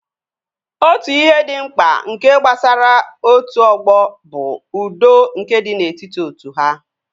Otu ihe dị mkpa nke gbasara otu ọgbọ bụ udo nke dị n'etiti otu ha